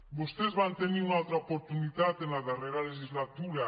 vostès van tenir una altra oportunitat en la darrera legislatura